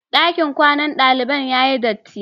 Ɗakin kwanan daliban ya yi dirti.